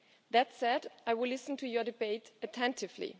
That said, I will listen to your debate attentively.